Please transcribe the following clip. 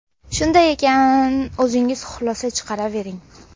Shunday ekan, o‘zingiz xulosa chiqaravering.